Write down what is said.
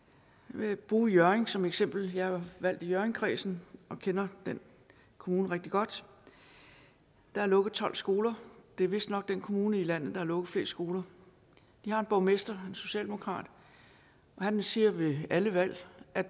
vil bruge hjørring som eksempel jeg er valgt i hjørringkredsen og kender den kommune rigtig godt der er lukket tolv skoler det er vistnok den kommune i landet der har lukket flest skoler de har en borgmester en socialdemokrat og han siger ved alle valg at